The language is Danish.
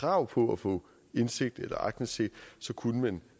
krav på at få indsigt eller aktindsigt kunne man